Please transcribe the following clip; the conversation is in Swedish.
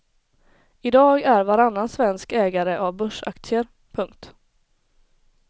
I dag är varannan svensk ägare av börsaktier. punkt